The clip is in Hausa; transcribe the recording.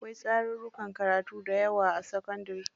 Akwai tsarurrukan karatu dayawa a sakandari.